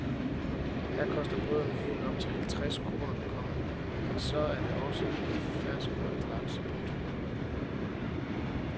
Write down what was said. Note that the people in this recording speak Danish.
Her koster brødene helt op til halvtreds kroner, komma men så er det også med fersk røget laks. punktum